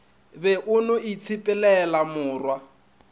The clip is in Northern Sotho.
be o no itshepelela morwa